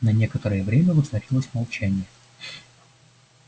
на некоторое время воцарилось молчание